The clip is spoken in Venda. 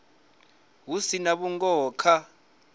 hu si na vhungoho kha